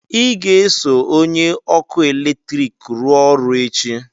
ị ga-eso onye ọkụ eletrik rụọ ọrụ echi!